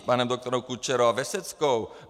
S panem doktorem Kučerou a Veseckou?